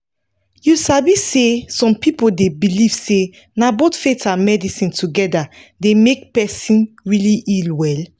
you sabi say some people dey believe say na both faith and medicine together dey make person really heal well.